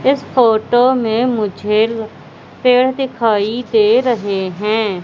इस फोटो में मुझे पेड़ दिखाई दे रहे हैं।